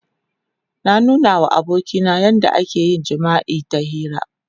Na nuna wa abokina yadda ake yin jima'i ta hira.